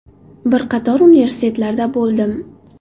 Bir qator universitetlarda bo‘ldim.